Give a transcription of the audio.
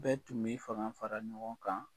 Bɛɛ tun b'i fanga fara ɲɔgɔn kan